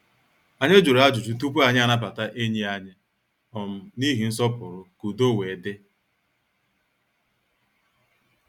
Anyị jụrụ ajụjụ tupu anyị anabata enyi anyị um n' ihi nsọpụrụ ka udo wee dị.